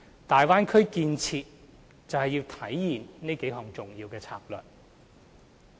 大灣區建設就是要體現這數項重要策略。